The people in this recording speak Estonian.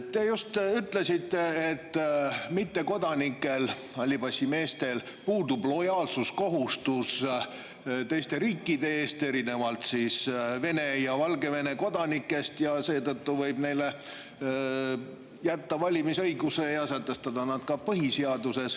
Te just ütlesite, et mittekodanikel, hallipassimeestel, puudub lojaalsuskohustus teiste riikide ees, erinevalt Vene ja Valgevene kodanikest, ja seetõttu võib neile jätta valimisõiguse ja sätestada selle ka põhiseaduses.